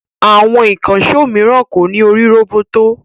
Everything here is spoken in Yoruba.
Àwọn ìkànṣó mìíràn kò ní orí roboto